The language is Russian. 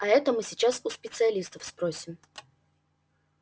а это мы сейчас у специалистов спросим